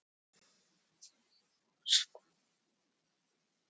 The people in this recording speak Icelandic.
Hjörtur Björnsson, hönnuður: Þetta drífur svona hvað, fjóra metra?